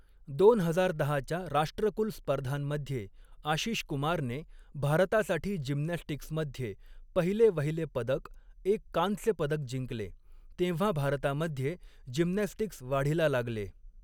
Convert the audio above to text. दोन हजार दहाच्या राष्ट्रकुल स्पर्धांमध्ये, आशिष कुमारने भारतासाठी जिम्नॅस्टिक्समध्ये पहिले वहिले पदक, एक कांस्य पदक जिंकले, तेव्हा भारतामध्ये जिम्नॅस्टिक्स वाढीला लागले.